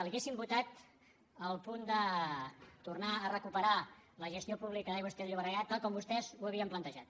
hauríem votat el punt de tornar a recuperar la gestió pública d’aigües ter llobregat tal com vostès ho havien plantejat